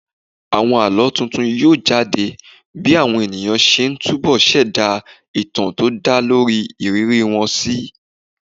Àwọn àlọ́ tuntun yóò jade bí àwọn ènìyàn ṣe ń túbo ṣẹ̀dá ìtàn tó dá lórí ìrírí wọn síi